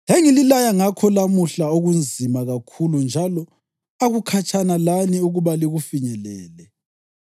“Engililaya ngakho lamuhla akunzima kakhulu njalo akukhatshana lani ukuba likufinyelele.